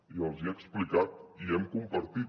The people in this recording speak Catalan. i els hi he explicat ho hem compartit